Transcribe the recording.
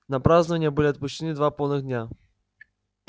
на празднования были отпущены два полных дня